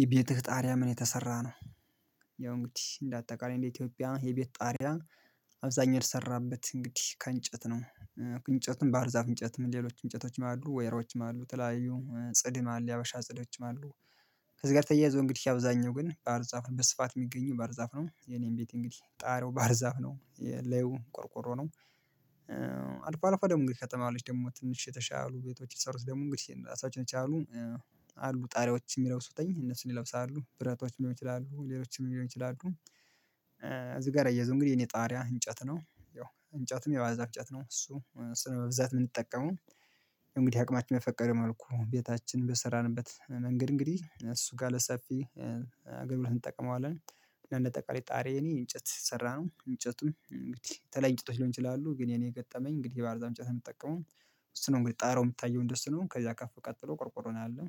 የቤትህ ጣሪያ በምን የተሰራ ነው ያው እንግዲህ እንደ አጠቃላይ እንደ ኢትዮጵያ የቤት ጣሪያ አብዛኛድ የሚሰራበት እንግዲህ ከእንጨት ነው እንጨትም ባርዛፍ እንጨትም ሌሎች እንጨቶችም አሉ ወይሮችም አሉ ተለያዩ ጽድም አለ ያበሻ ጽዶችም አሉ ከዚህ ጋር ተያይዞ እንግዲህ አብዛኛው ግን ባርዛፍ በስፋት የሚገኝ ባርዛፍ ነው የኔን ቤት እንግዲህ ጣሪያው ባርዛፍ ነው ላዩ ቆርቆሮ ነው አልፎ አልፎ ደግሞ የከተማ ቤቶች ደግሞ ትንሽ የተሻሉ ቤቶች የተሰሩት ደግሞ እንግዲህ ራሳቸውን የተሻሉ አሉ ጣሪያዎች የሚለብሱትኝ እነሱን ይለብሳሉ ብረታዎች ሊሆኑ ይችላሉ ሌሎችንም ሊሆኑ ይላሉ እዚህ ጋር አያይዞ እንግዲህ የኔ ጣሪያ እንጨት ነው ያው እንጨትም የዋንዛ እንጨትን ነው እሱ ነው በብዛት የምንጠቀመው እንግዲህ አቅማችን በፈቀደ መልኩ ቤታችን በሰራንበት መንገድ እንግዲህ እሱ ጋር ለሰፊ ግቡር እንጠቀመዋለን ጥርጣሪ የኔ እንጨት ሰራም እንጨቱም እንግዲህ ተለይ ሊሆን ይችላሉ ግን የኔ የገጠመኝ እንግዲህ በአርዛፍ እንጨት የምጠቀመው እሱ ነው እንግዲህ ጣራው የምታየው እንደሱ ነው። ከዛ ከፍ ቀጥሎ ቆርቆሮ ነው ያለው።